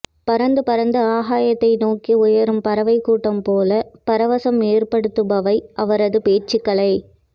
பறந்து பறந்து ஆகாயத்தை நோக்கி உயரும் பறவைக் கூட்டம் போல பரவசம் ஏற்படுத்துபவை அவரதுபேச்ச்சுகலை